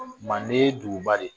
Manden ye duguba de ye